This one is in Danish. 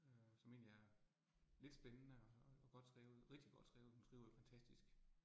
Øh som egentlig er lidt spændende, og godt skrevet, rigtig godt skrevet, hun skriver jo fantastisk